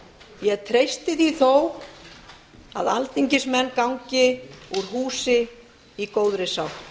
ég treysti því þó að alþingismenn gangi úr húsi í góðri sátt